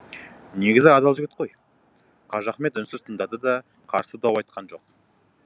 негізі адал жігіт қой қажыахмет үнсіз тыңдады да қарсы дау айтқан жоқ